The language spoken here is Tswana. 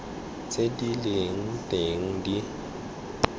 tse di leng teng di